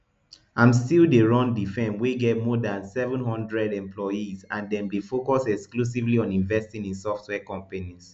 im still dey run di firm wey get more dan seven hundred employees and dem dey focus exclusively on investing in software companies